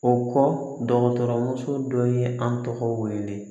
O kɔ dɔgɔtɔrɔmuso dɔ ye an tɔgɔ wele